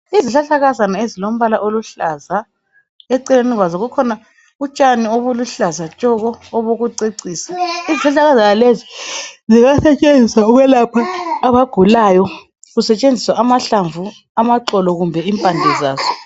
Izihlahlakazana ezilombala oluhlaza. Eceleni kwazo kukhona utshani obuluhlaza tshoko, obokucecisa. Izihlahlakazana lezi zingasetshenziswa ukwelapha abagulayo kusetshenziswa amahlamvu, amaxolo, kumbe impande zaso.